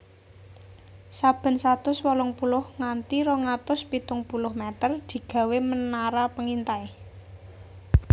Saben satus wolung puluh nganti rong atus pitung puluh meter digawé menara pengintai